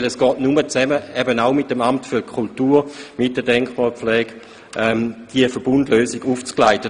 Denn es ist nur gemeinsam mit dem Amt für Kultur und der Denkmalpflege möglich, eine solche Verbundlösung aufzugleisen.